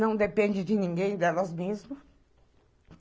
Não depende de ninguém delas mesmas.